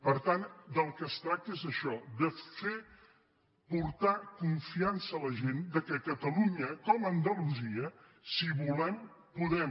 per tant del que es tracta és d’això de fer portar con·fiança a la gent que a catalunya com a andalusia si volem podem